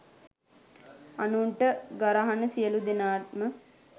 අනුන්ට ගරහන සියලූ දෙනාම